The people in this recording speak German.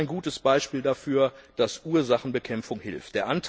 Die ist ein gutes Beispiel dafür, dass Ursachenbekämpfung hilft.